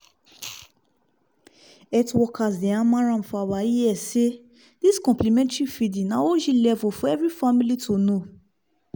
health workers dey hammer am for our ears say this complementary feeding na og level for everi family to know